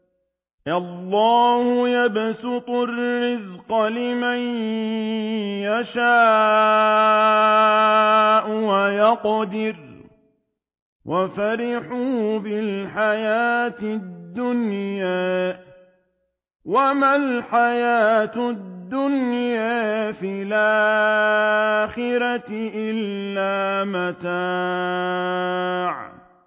اللَّهُ يَبْسُطُ الرِّزْقَ لِمَن يَشَاءُ وَيَقْدِرُ ۚ وَفَرِحُوا بِالْحَيَاةِ الدُّنْيَا وَمَا الْحَيَاةُ الدُّنْيَا فِي الْآخِرَةِ إِلَّا مَتَاعٌ